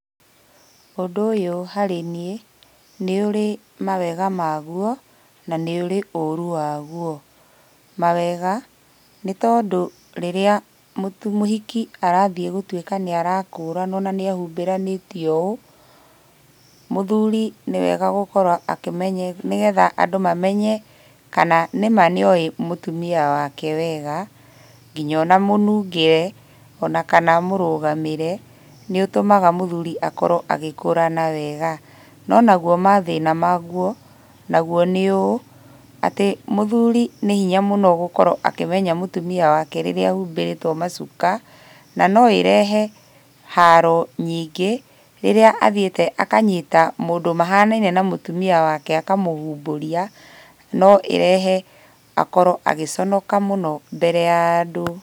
Ũndũ ũyũ harĩ niĩ, nĩũrĩ mawega maguo, na nĩ ũrĩ ũru waguo. Mawega, nĩtondũ rĩrĩa mũhiki arathiĩ gũtuĩka nĩarakũranũo na nĩahũmbĩranĩtio ũũ, mũthuri nĩwega gũkorwo akĩmenya nĩgetha andũ mamenye kana nĩma nĩoĩ mũtumia wake wega, kinya ona mũnungĩre ona kana mũrũgamĩre nĩũtũmaga mũthuri akorwo agĩkũrana wega. No naguo mathĩna maguo, naguo nĩ ũũ, atĩ mũthuri nĩ hinya mũno gũkorwo akĩmenya mũtumia wake rĩrĩa ahumbĩrĩtwo macuka, na noĩrehe haro nyingĩ, rĩrĩa athiĩte akanyita mũndũ mahanaine na mũtumia wake akamũhũmbũria, no ĩrehe akorwo agĩconoka mũno mbere ya andũ.